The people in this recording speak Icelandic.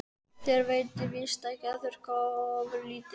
Þér veitir víst ekki af að þurrka þig ofurlítið.